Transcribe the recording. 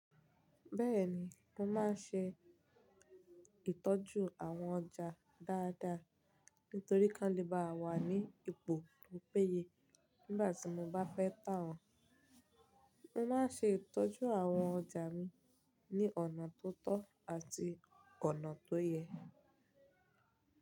Bẹ́ẹ̀ni, mo máa ṣe ìtọ́jú àwọn ọjà dáadáa nítorí kí wọ́n le bá wà ní ipò tó péye nígbà tí mo bá fẹ́ tà wọ́n. Mo máa ṣe ìtọ́jú àwọn ọjà mi ní ọ̀nà tó tọ́ àti ọ̀nà tó yẹ.